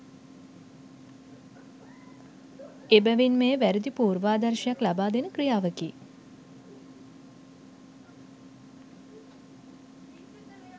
එබැවින් මෙය වැරදි පූර්වාදර්ශයක්ද ලබාදෙන ක්‍රියාවකි